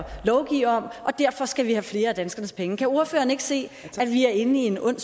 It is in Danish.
lovgive om og derfor skal vi have flere af danskernes penge kan ordføreren ikke se at vi er inde i en ond